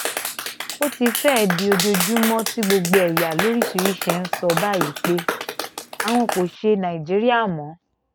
ó ti fẹ́ẹ̀ di ojoojúmọ́ tí gbogbo ẹ̀yà lóríṣìíríṣìí ń sọ báyìí pé àwọn kò ṣe nàìjíríà mọ́